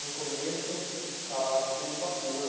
No começo estava todo vapor.